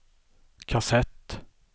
kassett